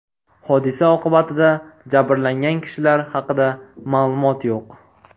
Hodisa oqibatida jabrlangan kishilar haqida ma’lumot yo‘q.